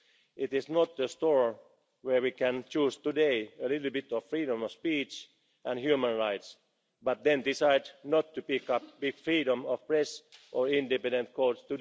of values. It is not a store where we can choose a little bit of freedom of speech and human rights, but then decide not to pick up freedom of the press or independent